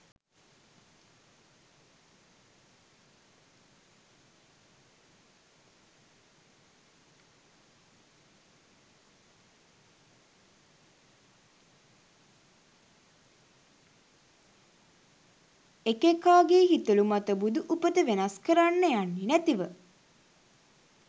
එක එකා ගෙ හිතළු මත බුදු උපත වෙනස්කරන්න යන්නැතිව